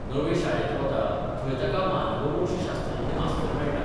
नवे शाळेत वता थंय ताका मानववंशशास्त्रज्ञ मास्तर मेळटा.